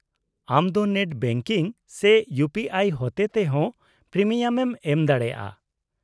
-ᱟᱢ ᱫᱚ net banking ᱥᱮ ᱤᱩᱯᱤᱟᱭ ᱦᱚᱛᱮ ᱛᱮ ᱦᱚᱸ ᱯᱨᱤᱢᱤᱭᱟᱢᱮᱢ ᱮᱢ ᱫᱟᱲᱮᱭᱟᱜᱼᱟ ᱾